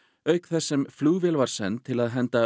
auk þess sem flugvél var send til að henda